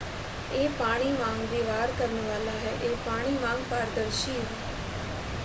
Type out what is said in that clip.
"ਇਹ ਪਾਣੀ ਵਾਂਗ ਵਿਵਹਾਰ ਕਰਨ ਵਾਲਾ ਹੈ। ਇਹ ਪਾਣੀ ਵਾਂਗ ਪਾਰਦਰਸ਼ੀ ਹੈ।